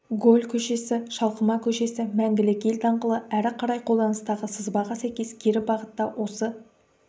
голль көшесі шалқыма көшесі мәңгілік ел даңғылы әрі қарай қолданыстағы сызбаға сәйкес кері бағытта осы